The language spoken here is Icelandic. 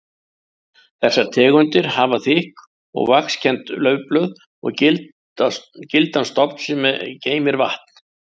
Þessar tegundir hafa þykk og vaxkennd laufblöð og gildan stofn sem geymir vatn.